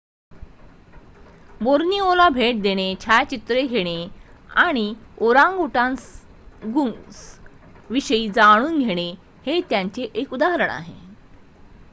बोर्निओला भेट देणे छायाचित्रे घेणे आणि ओरांगटांगुंग्स विषयी जाणून घेणे हे त्याचे एक उदाहरण आहे